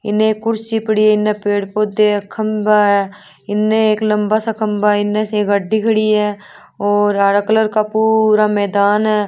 इने कुर्सी पड़ी है इन पेड़ पौधा है खम्बा है इन एक लम्बा सा खम्बा है इन एक गाडी खड़ी है और हरे कलर का पूरा मैदान है।